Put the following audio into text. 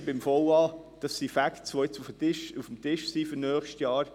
Jetzt, beim VA, sind es Facts, die jetzt auf dem Tisch sind für nächstes Jahr.